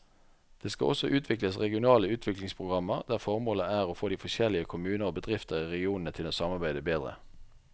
Det skal også utvikles regionale utviklingsprogrammer der formålet er å få de forskjellige kommuner og bedrifter i regionene til å samarbeide bedre.